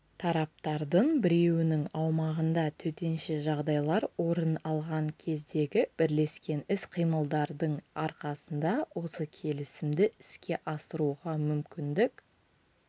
тараптардың біреуінің аумағында төтенше жағдайлар орын алған кездегі бірлескен іс-қимылдардың арқасында осы келісімді іске асыруға мүмкіндік